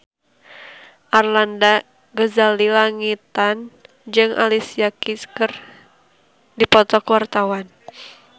Arlanda Ghazali Langitan jeung Alicia Keys keur dipoto ku wartawan